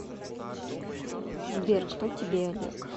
сбер кто тебе олег